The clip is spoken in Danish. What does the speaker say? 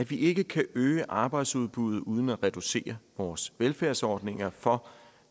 at vi ikke kan øge arbejdsudbuddet uden at reducere vores velfærdsordninger for